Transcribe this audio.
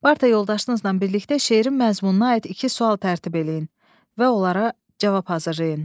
Yoldaşınızla birlikdə şeirin məzmununa aid iki sual tərtib eləyin və onlara cavab hazırlayın.